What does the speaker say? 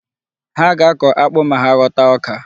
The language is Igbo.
Ha ga-akọ akpu ma hà ghọta ọka.